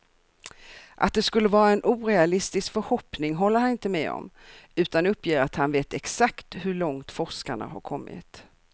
Att det skulle vara en orealistisk förhoppning håller han inte med om, utan uppger att han vet exakt hur långt forskarna har kommit.